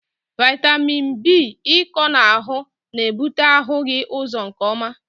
Vitamin B ịkọ n'ahụ na-ebute ahụghị ụzọ nke ọma.